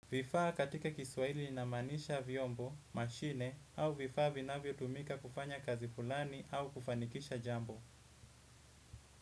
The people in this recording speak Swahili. Vifaa katika kiswahili inamaanisha vyombo, mashine au vifaa vinavyo tumika kufanya kazi fulani au kufanikisha jambo.